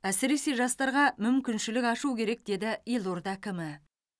әсіресе жастарға мүмкіншілік ашу керек деді елорда әкімі